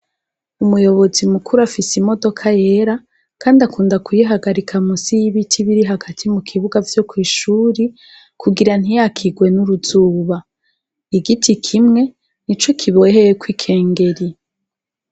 Umuyobozi mukuru afise imodoka yera kandi akunda kuyihagarika munsi yibiti biri hagati mukibuga vyokwishure kugira ntiyakirwe nuruzuba igiti kimwe nico kiboheyeko ikengeri